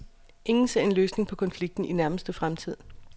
Ingen ser en løsning på konflikten i nærmeste fremtid.